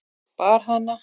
Bar hana